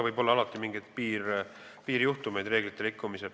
Kahtlemata võib reeglite puhul alati olla mingeid piirjuhtumeid.